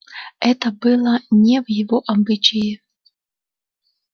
это было не в его обычае